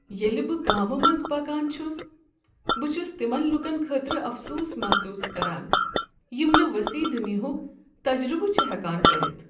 ییٚلہ بہٕ گامہٕ مٔنٛزٕ پکان چھس، بہٕ چھس تمن لوٗکن خٲطرٕ افسوٗس محسوٗس کران یم نہٕ وسیع دنیاک تجربہٕ چھ ہٮ۪کان کٔرتھ۔